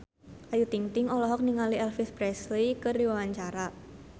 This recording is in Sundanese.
Ayu Ting-ting olohok ningali Elvis Presley keur diwawancara